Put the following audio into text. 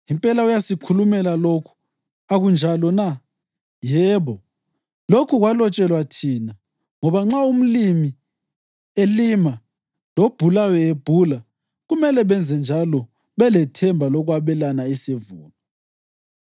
Impela uyasikhulumela lokhu; akunjalo na? Yebo, lokhu kwalotshelwa thina, ngoba nxa umlimi elima lobhulayo ebhula kumele benzenjalo belethemba lokwabelana isivuno.